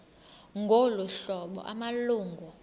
ngolu hlobo amalungu